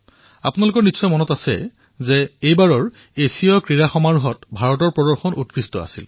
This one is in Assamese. আপোনালোকৰ মনত আছে চাগে এইবাৰ এছিয়ান গেমছতো ভাৰতে উন্নত প্ৰদৰ্শন কৰিছে